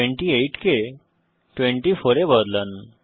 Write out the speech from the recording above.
28 কে 24 এ বদলান